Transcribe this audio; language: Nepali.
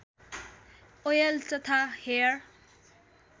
ओयल तथा हेयर